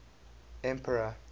emperor